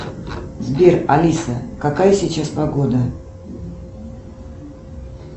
сбер алиса какая сейчас погода